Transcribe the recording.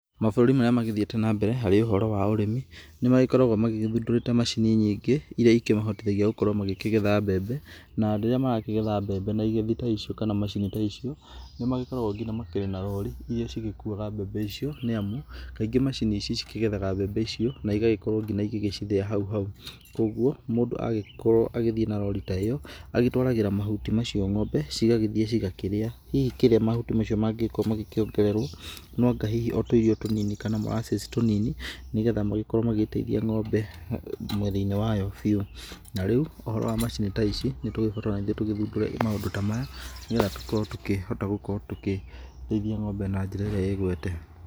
Mabũrũri marĩa magĩthiĩte na mbere harĩ ũhoro wa ũrĩmi, nĩmagĩkorwo magĩthundora macini nyingĩ irĩa ikĩmahotithagia makorwo magĩkĩgetha mbembe na andũ arĩa marakĩgetha mbembe na igethi ta icio kana macini ta icio, nĩmagĩkoragwa nginya na makĩrĩ na rori irĩa cigĩkuwaga mbembe icio, nĩ amu kaingi macini ici cikĩgethaga mbembe icio na igagĩkorwo nginya igĩcithĩa hau hau, kwoguo mũndũ agĩkorwo agĩthiĩ na rori ta ĩyo agĩtwaragĩra mahuti macio ng'ombe, cigagĩthiĩ cigakĩrĩa, hihi kĩrĩa mahuti macio mangĩkorwo makĩongererwo noanga hihi o tũirio tũnini kana molasses tũnini, nĩgetha magĩkorwo magĩteithia ng'ombe mwena-inĩ wayo biũ, na rĩũ ũhoro wa macini ta ici nĩtũgĩkoretwo tũgĩthundũra maundũ ta maya, nĩgetha tũkorwo tũkĩhota gũkorwo tũkĩrĩithia ng'ombe na njĩra ĩrĩa ĩgwete.